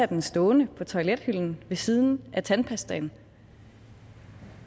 den stående på toilethylden ved siden af tandpastaen